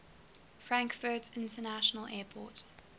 frankfurt international airport